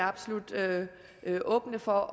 absolut åbne for